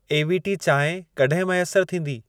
AVT चांहि कॾहिं मैसर थींदी?